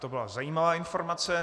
To byla zajímavá informace.